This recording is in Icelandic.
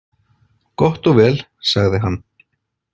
Gott og vel, sagði hann.